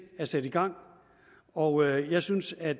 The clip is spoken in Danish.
er sat i gang og jeg synes at